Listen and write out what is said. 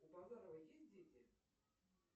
у базарова есть дети